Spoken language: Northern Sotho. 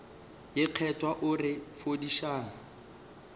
ye kgethwa o re fodišang